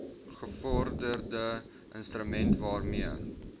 gevorderde instrument waarmee